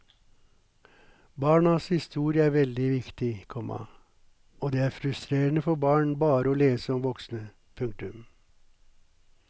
Barnas historie er veldig viktig, komma og det er frustrerende for barn bare å lese om voksne. punktum